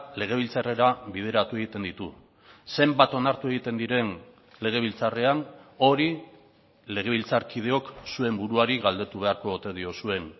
legebiltzarrera bideratu egiten ditu zenbat onartu egiten diren legebiltzarrean hori legebiltzarkideok zuen buruari galdetu beharko ote diozuen